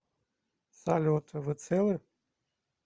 салют вы целы